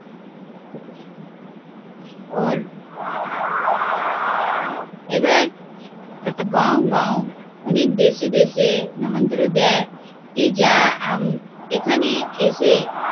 ওর এবার গাও গাও অনেক দেশে দেশে নিমন্ত্রণ দেয় কি যা উম এখানে এসে